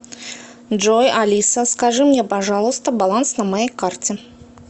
джой алиса скажи мне пожалуйста баланс на моей карте